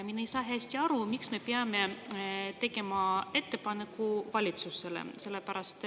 Mina ei saa hästi aru, miks me peame tegema ettepaneku valitsusele.